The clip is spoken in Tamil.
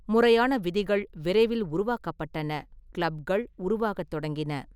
முறையான விதிகள் விரைவில் உருவாக்கப்பட்டன, கிளப்கள் உருவாகத் தொடங்கின.